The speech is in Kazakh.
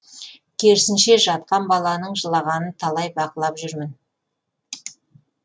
керісінше жатқан баланың жылағанын талай бақылап жүрмін